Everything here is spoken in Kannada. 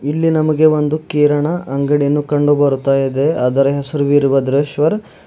ಇಲ್ಲಿ ನಮಗೆ ಒಂದು ಕಿರಣಾ ಅಂಗಡಿಯನ್ನು ಕಂಡು ಬರುತಾ ಇದೆ ಅದರ ಹೆಸರು ವೀರಭದ್ರೆಶ್ವರ್--